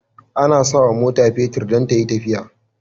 Ana sawa mota fetir dan tayi tafiya